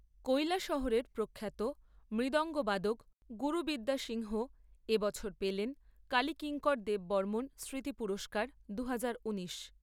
কৈলাসহরের প্রখ্যাত মৃদঙ্গবাদক গুরুবিদ্যা সিংহ এ বছর পেলেন কালী কিংকর দেববর্মন স্মৃতি পুরস্কার দুহাজার ঊনিশ।